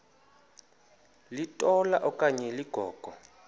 litola okanye ligogo